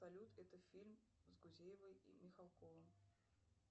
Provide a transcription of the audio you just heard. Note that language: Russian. салют это фильм с гузеевой и михалковым